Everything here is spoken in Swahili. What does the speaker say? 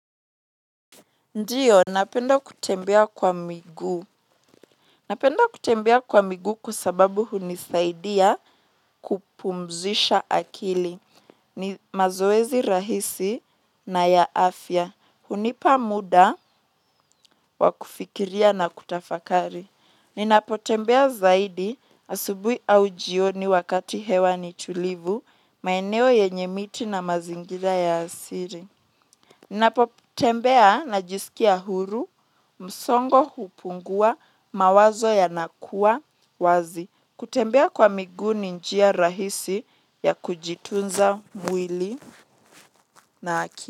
Ndiyo, napenda kutembea kwa miguu. Napenda kutembea kwa miguu kwa sababu hunisaidia kupumzisha akili. Ni mazoezi rahisi na ya afya. Hunipa muda wakufikiria na kutafakari. Ninapotembea zaidi asubuhi au jioni wakati hewa ni tulivu, maeneo yenye miti na mazingira ya asili. Napo tembea na jisikia huru msongo hupungua mawazo ya nakuwa wazi. Kutembea kwa miguu ni njia rahisi ya kujitunza mwili na akili.